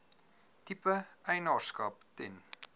tipe eienaarskap ten